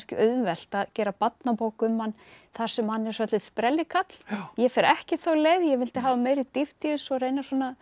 auðvelt að gera barnabók um hann þar sem hann er svolítill sprellikarl ég fer ekki þá leið ég vildi hafa meiri dýpt í þessu og reyna að